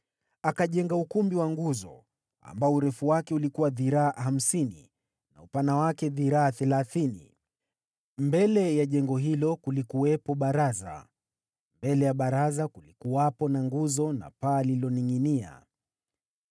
Akajenga ukumbi wa nguzo, ambao urefu wake ulikuwa dhiraa hamsini na upana wake dhiraa thelathini. Mbele ya jengo hilo kulikuwepo baraza. Mbele ya baraza kulikuwepo na nguzo na paa lililoningʼinia.